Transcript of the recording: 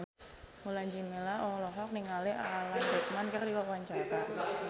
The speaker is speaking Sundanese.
Mulan Jameela olohok ningali Alan Rickman keur diwawancara